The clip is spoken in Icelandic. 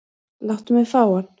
Láttu mig fá hann.